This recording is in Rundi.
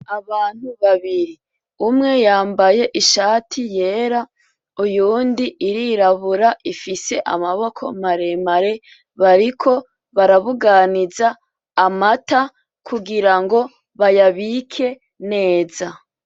Abantu babiri umwe yambaye ishati yera uyundi irirabura ifise amaboko maremare bariko barabuganiza amata kugirango bayabike neza